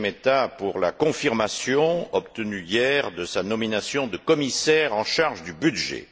Šemeta pour la confirmation obtenue hier de sa nomination de commissaire en charge du budget.